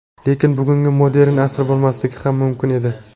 Lekin bugungi modern asri bo‘lmasligi ham mumkin edi.